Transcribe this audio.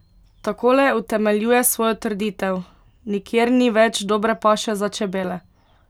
Takole utemeljuje svojo trditev: "Nikjer ni več dobre paše za čebele.